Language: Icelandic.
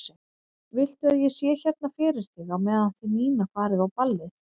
Viltu að ég sé hérna fyrir þig á meðan þið Nína farið á ballið?